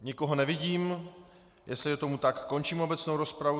Nikoho nevidím, jestli je tomu tak, končím obecnou rozpravu.